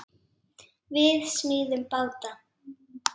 Við smíðum báta.